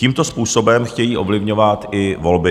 Tímto způsobem chtějí ovlivňovat i volby.